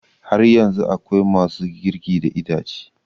Har yanzu akwai ma su girki da itace